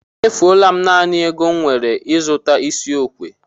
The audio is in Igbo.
Emefuwo m naanị ego m nwere n'ịzụta isi okwu.